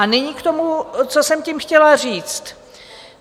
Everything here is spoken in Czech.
A nyní k tomu, co jsem tím chtěla říct.